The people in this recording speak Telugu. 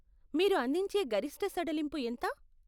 మీరు అందించే గరిష్ట సడలింపు ఎంత?